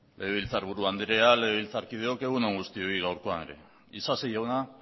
legebiltzarburu andrea legebiltzarkideok egun on guztioi gaurkoan ere isasi jauna